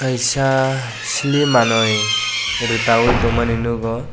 kaisa sili manui rika ye tong mani nogo.